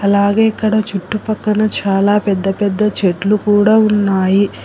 అలాగే ఇక్కడ చుట్టుపక్కన చాలా పెద్ద పెద్ద చెట్లు కూడా ఉన్నాయి.